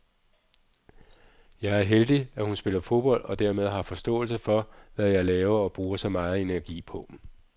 Jeg er heldig, at hun spiller fodbold og dermed har forståelse for, hvad jeg laver og bruger så megen energi på.